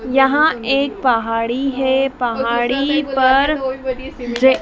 यहां एक पहाड़ी है पहाड़ी पर ये--